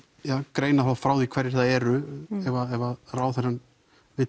greina þá frá því hverjir það eru ef að ráðherrann vill